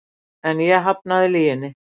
En ég hafnaði lyginni.